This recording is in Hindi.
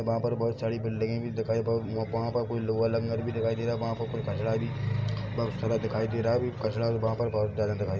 वहाँ पर बोहोत सारी बिल्डिंगे भी दिखाई प वहाँ पर लोहा लंगर भी दिखाई दे रहा है वहाँ पर कोई कचड़ा भी दिखाई दे रहा है कचरा भी वहाँ पर बोहोत डाला दिखाई --